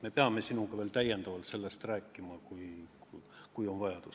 Me peame sellest sinuga veel täiendavalt rääkima, kui on vaja.